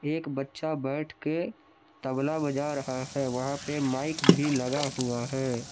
एक बच्चा बैठ के तबला बजा रहा है वहां पे माइक भी लगा हुआ है।